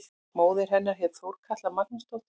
Móðir hennar hét Þorkatla Magnúsdóttir.